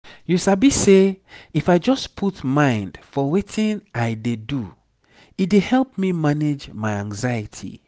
you sabi say if i just put mind for weti i dey do e dey help me manage my anxiety.